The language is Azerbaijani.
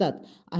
Stat.